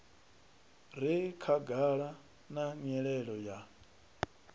re khagala na nyelelo ya